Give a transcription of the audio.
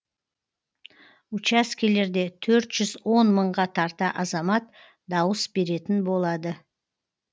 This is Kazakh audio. учаскелерде төрт жүз он мыңға тарта азамат дауыс беретін болады